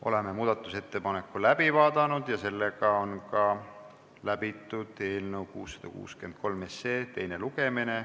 Oleme muudatusettepaneku läbi vaadanud ja läbitud on ka eelnõu 663 teine lugemine.